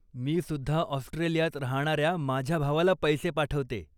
मी सुद्धा ऑस्ट्रेलियात राहणाऱ्या माझ्या भावाला पैसे पाठवते.